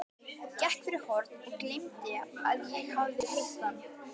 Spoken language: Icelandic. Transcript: Gekk fyrir horn og gleymdi að ég hafði hitt hann.